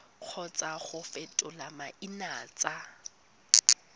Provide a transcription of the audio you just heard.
kgotsa go fetola maina tsa